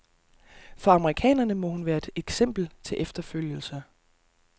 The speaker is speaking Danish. For amerikanerne må hun være et eksempel til efterfølgelse.